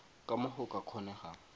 ka mo go ka kgonegang